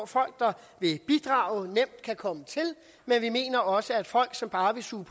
folk der vil bidrage nemt kan komme til men vi mener også at folk som bare vil suge